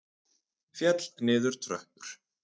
Féll niður tröppur